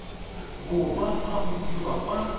borwa fa o dirwa kwa